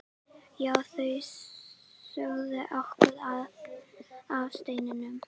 Já, þau sögðu okkur af steininum.